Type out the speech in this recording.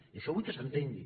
i això vull que s’entengui